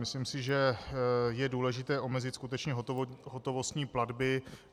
Myslím si, že je důležité omezit skutečně hotovostní platby.